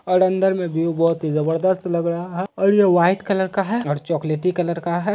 और अन्दर में व्यू बहुत जबरदस्त लग रहा है और ये वाईट कलर का है चॉकलेटी का है ।